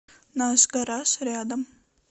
наш гараж рядом